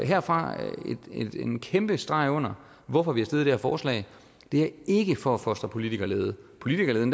her fra en kæmpe streg under hvorfor vi har stillet det her forslag det er ikke for at fostre politikerlede politikerleden